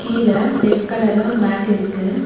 கீழ ரெட் கலர்ல ஒரு மேட் இருக்கு.